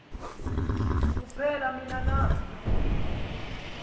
kuphela nini na